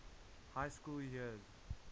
high school years